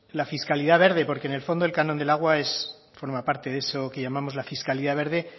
la fiscalidad verde porque en el fondo el canon del agua es forma parte de eso que llamamos la fiscalidad verde